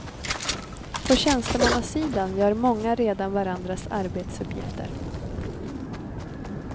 På tjänstemannasidan gör många redan varandras arbetsuppgifter.